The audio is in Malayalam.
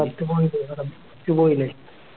പിന്നെയിലെ